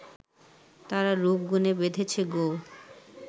তারা রূপ-গুণে বেঁধেছে গো